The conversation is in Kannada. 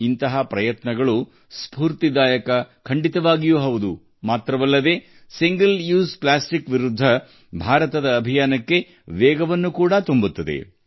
ಇಂತಹ ಪ್ರಯತ್ನಗಳು ಕೇವಲ ಸ್ಪೂರ್ತಿದಾಯಕವಾಗಿ ಮಾತ್ರವಲ್ಲ ಏಕ ಬಳಕೆಯ ಪ್ಲಾಸ್ಟಿಕ್ ವಿರುದ್ಧ ಭಾರತದ ಅಭಿಯಾನಕ್ಕೆ ವೇಗವನ್ನು ನೀಡುತ್ತವೆ